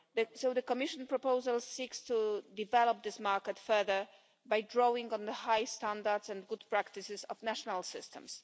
So the Commission proposal seeks to develop this market further by drawing on the high standards and good practices of national systems.